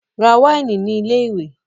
Ra wáìnì ní ilé-ìwé!